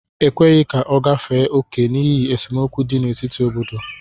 E kweghị ka ọ gafee oke n'ihi esemokwu dị n'etiti obodo